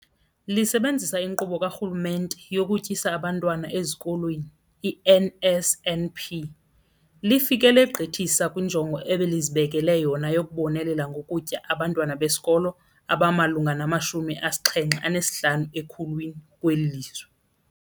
Lisebenzisa iNkqubo kaRhulumente yokuTyisa Abantwana Ezikolweni, i-NSNP, lifike legqithisa kwinjongo ebelizibekele yona yokubonelela ngokutya abantwana besikolo abamalunga nama-75 ekhulwini kweli lizwe.